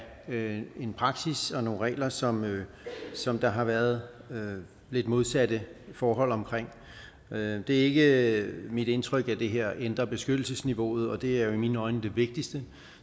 af en praksis og nogle regler som som der har været lidt modsatte forhold omkring det ikke mit indtryk at det her ændrer beskyttelsesniveauet og det er jo i mine øjne det vigtigste